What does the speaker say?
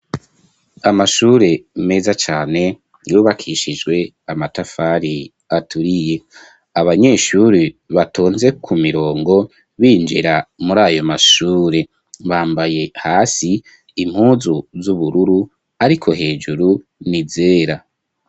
Amashure, meza cane, yubakishijwe amatafari, aturiye; abanyeshure, batonze ku mirongo, binjira muri ayo mashure, bambaye, hasi, impuzu z'ubururu, ariko, hejuru ni izera.